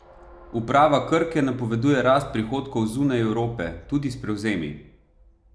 Uprava Krke napoveduje rast prihodkov zunaj Evrope, tudi s prevzemi.